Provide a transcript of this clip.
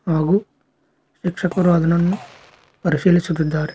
ಹಾಗೂ ಶಿಕ್ಷಕರು ಅದನನ್ನು ಪರಿಶೀಲಿಸುತ್ತಿದ್ದಾರೆ.